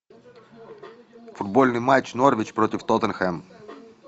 футбольный матч норвич против тоттенхэм